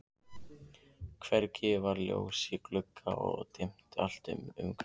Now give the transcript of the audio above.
Hvergi var ljós í glugga og dimmt allt umhverfis.